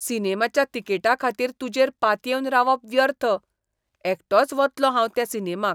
सिनेमाच्या तिकेटीखातीर तुजेर पातयेवन रावप व्यर्थ, एकटोच वतलों हांव त्या सिनेमाक .